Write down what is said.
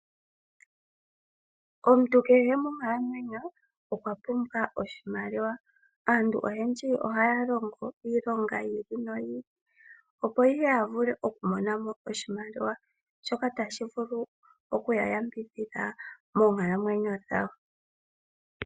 Omuntu kehe monkalamwenyo okwa pumbwa oshimaliwa, aantu oyendji ohaya longo iilonga yi ili noyi ili, opo ihe ya vule okumona mo oshimaliwa shoka tashi vulu oku ya yambidhidha moonkalamwenyo dhawo.